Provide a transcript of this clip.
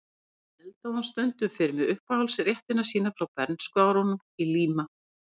Og svo eldaði hún stundum fyrir mig uppáhaldsréttina sína frá bernskuárunum í Líma